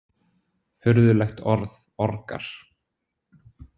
Furðulegt orð, orgar.